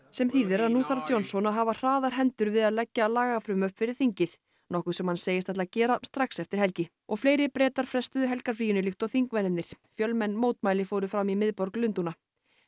sem þýðir að nú þarf Johnson að hafa hraðar hendur við að leggja lagafrumvörp fyrir þingið nokkuð sem hann segist ætla að gera strax eftir helgi og fleiri Bretar frestuðu helgarfríinu líkt og þingmennirnir fjölmenn mótmæli fóru fram í miðborg Lundúna